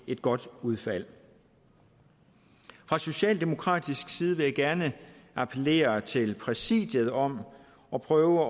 et godt udfald fra socialdemokratisk side vil jeg gerne appellere til præsidiet om at prøve